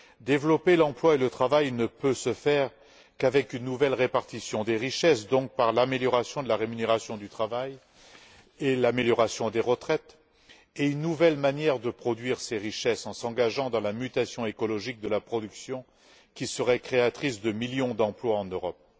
Développer l'emploi et le travail ne peut se faire qu'avec une nouvelle répartition des richesses, donc par l'amélioration de la rémunération du travail et l'amélioration des retraites et une nouvelle manière de produire ces richesses en s'engageant dans la mutation écologique de la production qui serait créatrice de millions d'emplois en Europe.